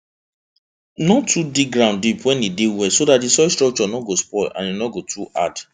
no too dig ground deep wen e dey wet so dat di soil structure no go spoil and e no go too hard